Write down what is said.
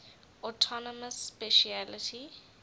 autonomous specialty